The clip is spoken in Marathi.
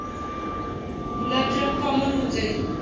गुलाबजाम common होऊन जाईल.